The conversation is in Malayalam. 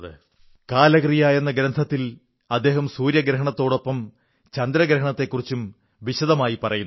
കാലക്രിയ എന്ന ഗ്രന്ഥത്തിൽ അദ്ദേഹം സൂര്യഗ്രഹണത്തോടൊപ്പം ചന്ദ്രഗ്രഹണത്തെക്കുറിച്ചും വിശദമായി പറയുന്നുണ്ട്